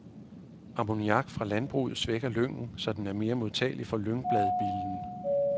Amoniak fra landbruget svækker lyngen, så den er mere modtagelig for lyngbladbillen.